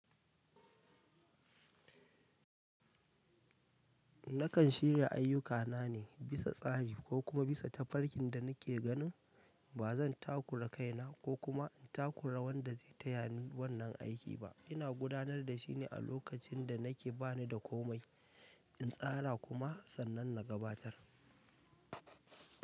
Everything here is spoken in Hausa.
Nakan shirya ayyukana ne bisa tsari ko kuma bisa tafarkin da nake ganin ba zan takura kaina ko kuma in takura wanda zai taya ni wannan aiki ba. Ina gudanar da shi ne a lokacin da na ke ba ni da komai, in tsara kuma sannan na gabatar.